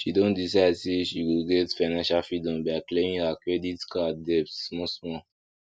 she don decide say she go get financial freedom by clearing her credit card debts small small